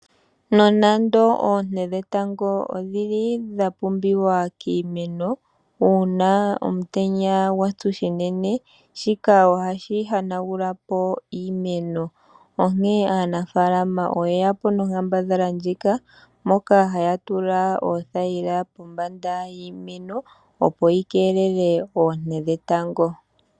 Nonando oonte dhetango oshili dha pumbiwa kiimeno, uuna omutenya gwatsu shinene, ohagu hanagula po iimeno. Aanafaalama oye yapo nonkaambadhala yoku tula oothayila pombanda yiimeno, opo dhi keelele oonte dhetango.